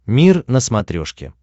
мир на смотрешке